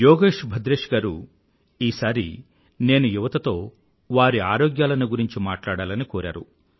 యోగేష్ భద్రేష్ గారు ఈసారి నేను యువత తో వారి ఆరోగ్యాలను గురించి మాట్లాడాలని కోరారు